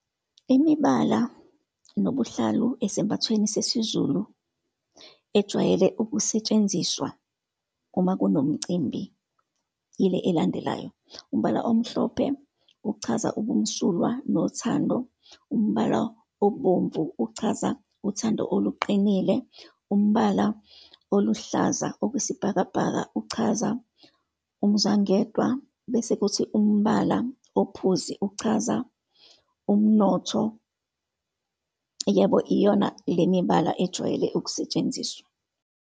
Imibala nobuhlalu esembathweni sesiZulu ejwayele ukusetshenziswa uma kunomcimbi, yile elandelayo. Umbala omhlophe, uchaza ubumsulwa, nothando. Umbala obomvu, uchaza uthando oluqinile. Umbala oluhlaza okwesibhakabhaka, uchaza umuzwangedwa, bese kuthi umbala ophuzi, uchaza umnotho. Yebo, iyona le mibala ejwayele ukusetshenziswa.